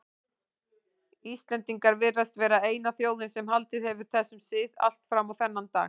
Íslendingar virðast vera eina þjóðin sem haldið hefur þessum sið allt fram á þennan dag.